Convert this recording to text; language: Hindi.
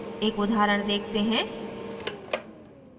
एक उदाहरण देखते हैं